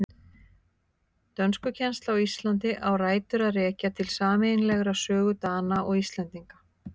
Dönskukennsla á Íslandi á rætur að rekja til sameiginlegrar sögu Dana og Íslendinga.